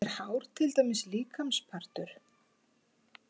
Er hár til dæmis líkamspartur?